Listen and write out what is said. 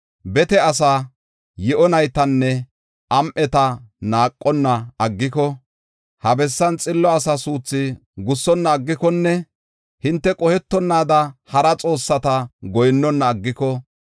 bete asaa, yi7o naytanne am7eta naaqonna aggiko, ha bessan xillo asa suuthu gussonna aggikonne, hinte qohetonaada hara xoossata goyinnona aggiko,